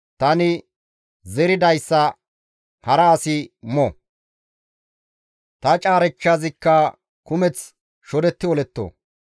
tani zeridayssa hara asi mo. Ta caarechchazikka kumeththi shodetti oletto.